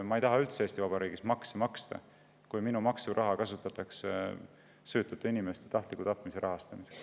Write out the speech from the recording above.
Ma ei taha Eesti Vabariigis makse maksta, kui minu maksuraha kasutatakse süütute inimeste tahtliku tapmise rahastamiseks.